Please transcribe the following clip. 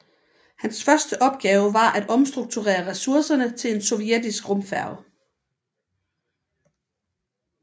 Hans første opgave var at omstrukturere ressourcerne til en sovjetisk rumfærge